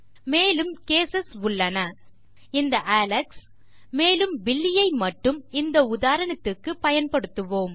மேலும் கேஸ் உள்ளன இந்த அலெக்ஸ் மேலும் பில்லி ஐ மட்டும் இந்த உதாரணத்திற்கு பயன்படுத்துவேன்